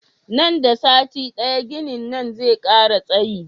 Nan da sati daya ginin nan zai kara tsayi